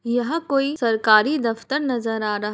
यह कोई सरकारी दफ्तर नजर आ रहा --